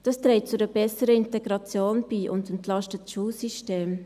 Das trägt zu einer besseren Integration bei und entlastet das Schulsystem.